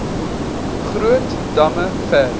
groot damme ver